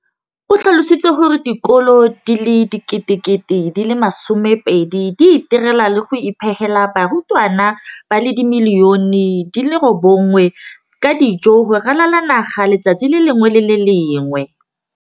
o tlhalositse gore dikolo di le 20 619 di itirela le go iphepela barutwana ba le 9 032 622 ka dijo go ralala naga letsatsi le lengwe le le lengwe.